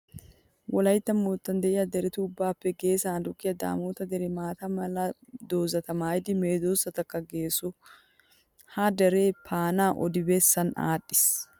Wolaytta moottan de'iya deretu ubbaappe geesan aduqqiya daamoota deree maata mala doozata maayidi medoosatussikka geesso. Ha deree paanaa odi bessan aadhdhiis.